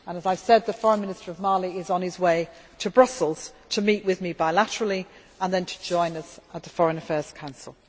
As I have said, the Foreign Minister of Mali is on his way to Brussels to meet with me bilaterally and then to join us at the Foreign Affairs Council.